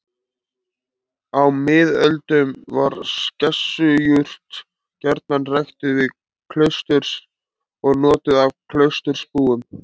Á miðöldum var skessujurt gjarnan ræktuð við klaustur og notuð af klausturbúum.